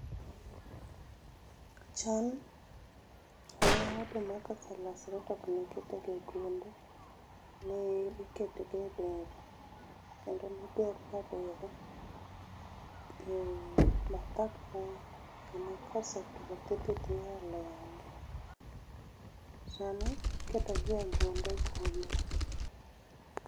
Chon ne oduma ka oselosre to okne kete ga e gunde, ne ikete ga e dero kendo ne oger ga dero e bath ot kama kosetuo tidhi tiole aola. Sani iketogi e gunde gunde